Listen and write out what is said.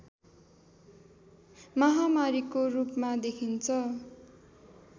महामारीको रूपमा देखिन्छ